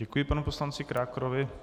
Děkuji panu poslanci Krákorovi.